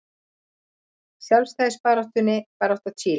Sjálfstæðisbarátta Chile.